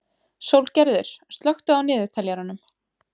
Sólgerður, slökktu á niðurteljaranum.